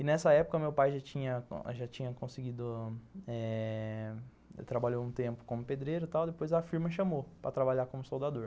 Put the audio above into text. E nessa época meu pai já tinha conseguido eh, já trabalhou um tempo como pedreiro e tal, depois a firma chamou para trabalhar como soldador.